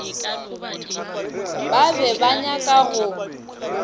ba be ba nyaka go